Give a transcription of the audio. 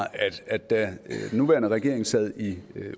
at da den nuværende regering sad i